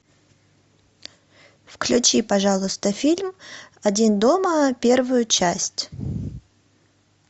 включи пожалуйста фильм один дома первую часть